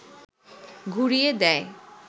ঘুরিয়ে দেয়